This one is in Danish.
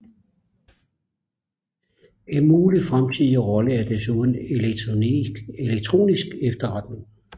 En mulig fremtidig rolle er desuden elektronisk efterretning